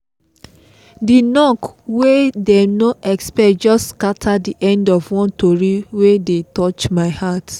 the knok wey them no expect just scatter the end of one tori wey dey touch my heart